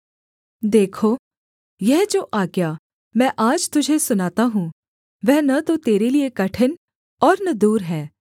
देखो यह जो आज्ञा मैं आज तुझे सुनाता हूँ वह न तो तेरे लिये कठिन और न दूर है